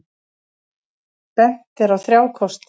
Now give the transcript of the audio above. Bent er á þrjá kosti.